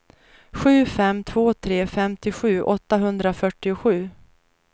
sju fem två tre femtiosju åttahundrafyrtiosju